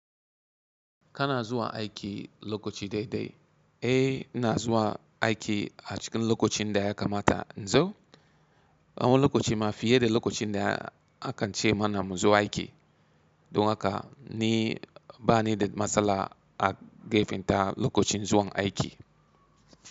Kana zuwa aiki lokaci dai dai? Eh, ina zuwa aiki a cikin lokacin da ya kamata. Inzo? Awon lokaci ma fiye da lokacin da akan ce mana mu zo aiki. Don haka ni bani da matsala a gefanta lokacin zuwan aiki.